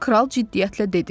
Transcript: Kral ciddiyyətlə dedi: